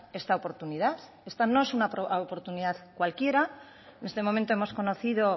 esta oportunidad esta no es una oportunidad cualquiera en este momento hemos conocido